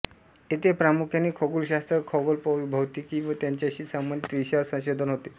येथे प्रामुख्याने खगोलशास्त्र खगोलभौतिकी व त्याचाशी संबंधित विषयांवर संशोधन होते